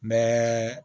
N bɛ